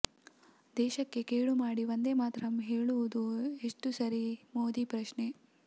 ದೇಶಕ್ಕೆ ಕೇಡು ಮಾಡಿ ವಂದೇ ಮಾತರಂ ಹೇಳುವುದು ಎಷ್ಟು ಸರಿ ಮೋದಿ ಪ್ರಶ್ನೆ